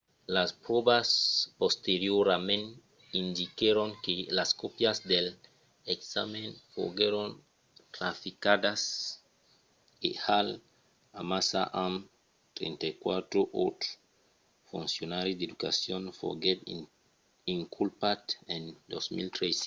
las pròvas posteriorament indiquèron que las còpias dels examèns foguèron traficadas e hall amassa amb 34 autres foncionaris d’educacion foguèt inculpat en 2013